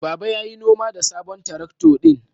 Baba ya yi noma da sabon traktor ɗin.